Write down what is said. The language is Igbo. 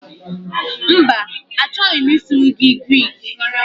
Mba, achọghị m ịsụrụ gị Grik